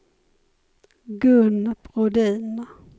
Gun Brodin